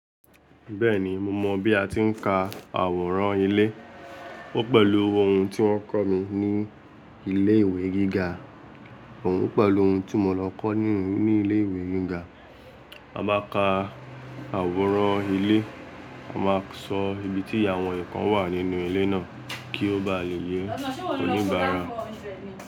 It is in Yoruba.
Bẹ́ẹ̀ni, mo mọ̀ bí a ti ń ka àwòrán ilé. Ó pẹ̀lú ohun tí wọ́n kọ́ mi ní ilé ìwé gíga. Óun pẹ̀lú ohun tí mo lọ kọ́ ní ilé ìwé gíga. A máa ka àwòrán ilé, a máa sọ ibi tí àwọn ǹkan wà nínú ilé náà kí ó ba le yẹ oníbàárà.